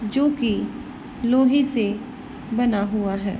जो कि लोहे से बना हुआ है।